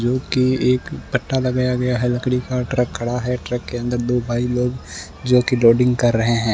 जोकि एक फट्टा लगाया गया है लकड़ी का ट्रक खड़ा है ट्रक के अंदर दो भाई लोग जोकि लोडिंग कर रहे हैं।